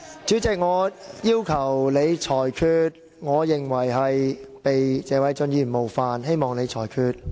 主席，我要求你作出裁決，我認為被謝偉俊議員冒犯了，請你裁決。